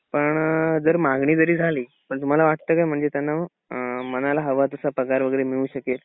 पण जर मागणी जरी झाली तर तुम्हाला वाटतंय का म्हणजे अ त्यांना मनाला हवा तास पगार वगैरे मिळू शकेल?